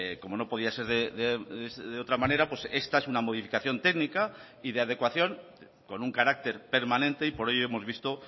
como no podía ser de otra manera esta es una modificación técnica y de adecuación con un carácter permanente y por ello hemos visto